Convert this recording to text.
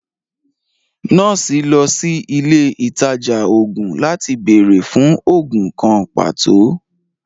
Nọọsi lọ sí ilẹ̀ itajà oogun latí bẹẹ̀rẹ̀ fún oogun kàn patọ